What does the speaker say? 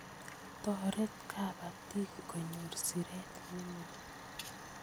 Toret kapatik kunyor siret nemie